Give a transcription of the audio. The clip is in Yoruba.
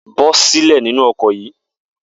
Bó̩ sílè̩ nínú o̩kò̩ yìí!